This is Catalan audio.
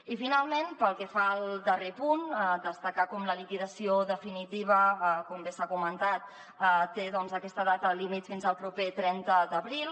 i finalment pel que fa al darrer punt destacar com la liquidació definitiva com bé s’ha comentat té doncs aquesta data límit fins al proper trenta d’abril